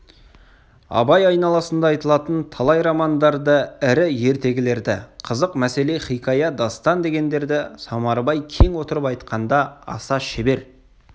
абай айналасында айтылатын талай романдарды ірі ертегілерді қызық мәселе хикая дастан дегендерді самарбай кең отырып айтқанда аса шебер